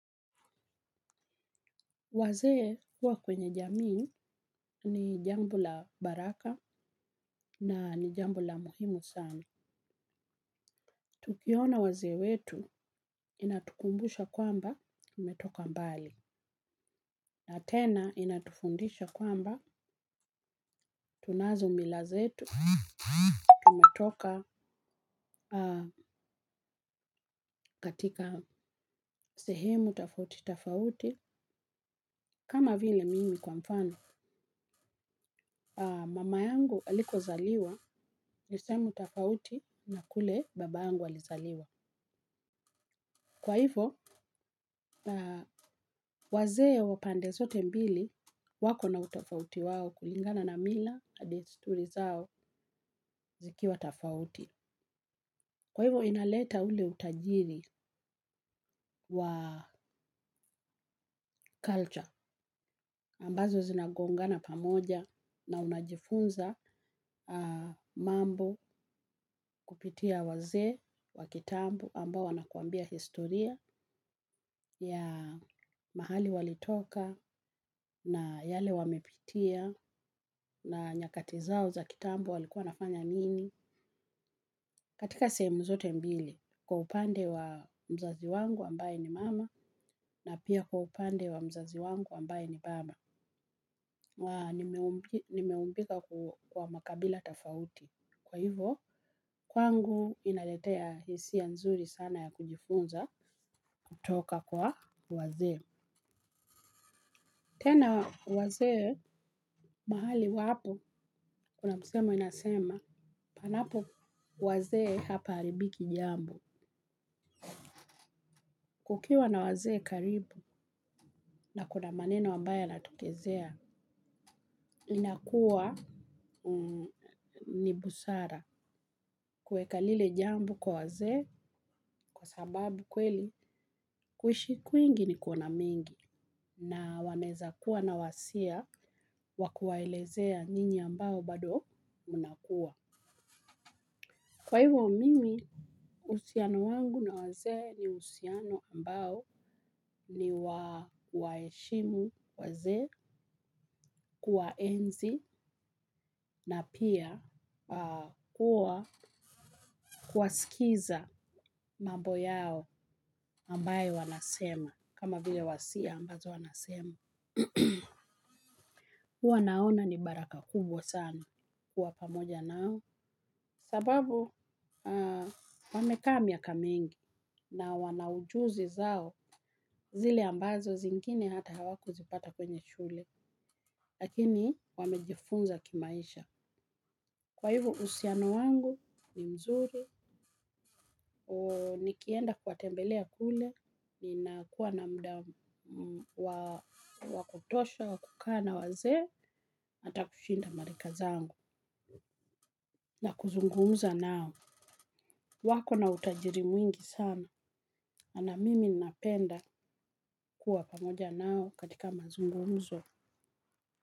Wazee kuwa kwenye jamii ni jambo la baraka na ni jambo la muhimu sana. Tukiona wazee wetu inatukumbusha kwamba imetoka mbali. Na tena inatufundisha kwamba tunazo milazetu. Tumetoka katika sehemu tafauti tafauti. Kama vile mimi kwa mfano. Mama yangu aliko zaliwa nisemu tafauti na kule baba yangu alizaliwa. Kwa hivyo, wazee wapande sote mbili wako na utofauti wao kulingana na mila, desturi zao zikiwa tafauti. Kwa hivyo, inaleta ule utajiri wa culture ambazo zinagongana pamoja na unajifunza mambo kupitia wazee wa kitambu ambao wanakuambia historia ya mahali walitoka na yale wamepitia na nyakatizao zao za kitambo walikuwa wanafanya nini. Katika semu zote mbili, kwa upande wa mzazi wangu ambaye ni mama, na pia kwa upande wa mzazi wangu ambaye ni baba. Nimeumbika kwa makabila tafauti. Kwa hivyo, kwangu inaletea hisiya nzuri sana ya kujifunza kutoka kwa wazee. Tena wazee, mahali wapo, kuna msemo inasema, panapo wazee hapa alibiki jambo. Ukiwa na wazee karibu na kuna maneno ambayo yanatokezea inakuwa ni busara kuweka lile jambo kwa wazee kwa sababu kweli kuishi kwingi ni kuona mengi na wanaeza kuwa na wasia wa kuwaelezea ninyi ambao bado munakuwa. Kwa hivyo mimi, uhusiano wangu na wazee ni uhusiano ambao ni wa kuwaheshimu wazee. Kuwaenzi na pia kuwasikiza mambo yao ambayo wanasema kama vile wasia ambazo wanasema. Huwa naona ni baraka kubwa sana kuwa pamoja nao sababu wamekaa miaka mingi. Na wana ujuzi zao zile ambazo zingine hata hawakuzipata kwenye shule. Lakini wamejifunza kimaisha. Kwa hivo uhusiano wangu ni mzuri. Nikienda kuwatembelea kule ninakua na muda wa kutosha wa kukaa na wazee hata kushinda marika zangu na kuzungumza nao. Wako na utajiri mwingi sana na mimi napenda kuwa pamoja nao katika mazungumzo.